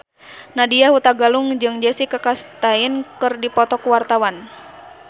Nadya Hutagalung jeung Jessica Chastain keur dipoto ku wartawan